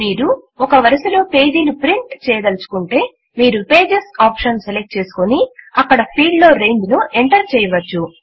మీరు ఒక వరుసలో పేజీలు ప్రింట్ చేయదలచుకుంటే మీరు పేజెస్ ఆప్షన్ సెలెక్ట్ చేసుకుని అక్కడ ఫీల్డ్ లో రేంజ్ ను ఎంటర్ చేయవచ్చు